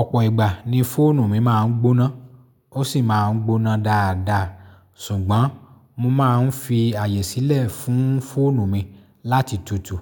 Ọ̀pọ̀ ìgbà ni fóònù mi máa ń gbóná, ó sì máa ń gbóná dáadáa. Sùgbọ́n mo máa ń fi àyè sílẹ̀ fún fóònù mi láti tutù